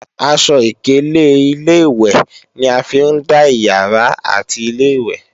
Aṣọ ìkélé Ilé-ìwẹ̀ ni a fi ń dá ìyàrá àti Ilé-ìwẹ̀